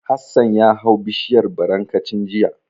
Hassan ya hau bishiyar barankacin jiya.